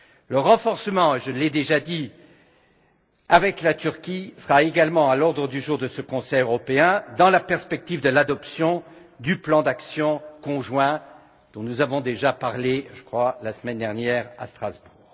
Le renforcement des relations avec la Turquie sera également à l'ordre du jour du Conseil européen, dans la perspective de l'adoption du plan d'action conjoint dont nous avons déjà parlé, je crois, la semaine dernière à Strasbourg.